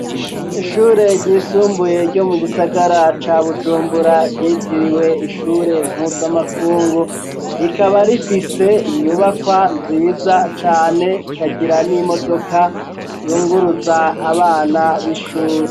Ishure ryisumbuye ryo mu gisagara ca Bujumbura ryitiriwe ishure mpuzamakungu rikaba rifise inyubakwa nziza cane rikagira n'imodoka yunguruza abana b'ishure.